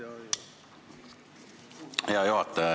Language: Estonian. Hea juhataja!